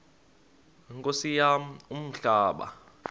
nkosi yam umhlaba